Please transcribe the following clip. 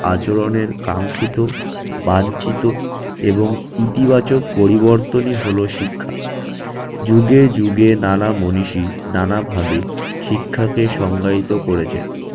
আচরণের কাঙ্ক্ষিত, বাঞ্ছিত এবং ইতিবাচক পরিবর্তনই হলো শিক্ষা। যুগে যুগে নানা মনীষী নানাভাবে শিক্ষাকে সংজ্ঞায়িত করেছেন